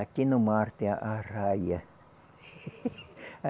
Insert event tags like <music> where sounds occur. Aqui no mar tem a arraia. <laughs>